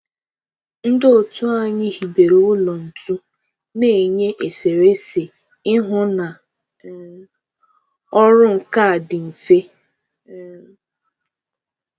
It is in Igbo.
Ndị otu anyị hibere ụlọ ntu na-enye eserese ihu na um ọrụ nka dị mfe um